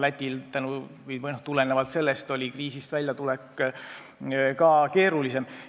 Lätil oli sellest tulenevalt kriisist väljatulek ka keerulisem.